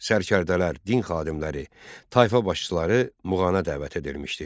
Sərkərdələr, din xadimləri, tayfa başçıları Muğana dəvət edilmişdi.